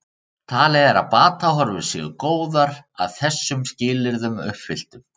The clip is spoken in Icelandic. Talið er að batahorfur séu góðar að þessum skilyrðum uppfylltum.